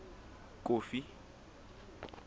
kofi